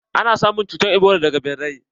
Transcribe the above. Ana samun cutar ebola daga ɓirai.